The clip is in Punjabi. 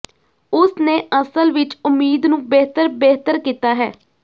ਉਸ ਨੇ ਅਸਲ ਵਿੱਚ ਉਮੀਦ ਨੂੰ ਬਿਹਤਰ ਬਿਹਤਰ ਕੀਤਾ ਹੈ